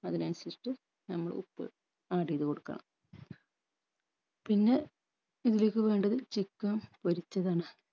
അതിനനുസരിചിറ്റ് നമ്മൾ ഉപ്പ് add എയ്ത് കൊടുക്കണം പിന്നെ ഇതിലേക്ക് വേണ്ടത് chicken പൊരിച്ചതാണ്